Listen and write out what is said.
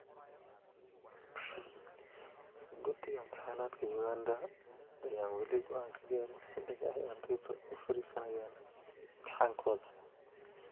Guddiga Imtixaanaadka Uganda ayaan weli goaan ka gaarin xilliga ay ardaydu u fariisanayaan imtixaankooda.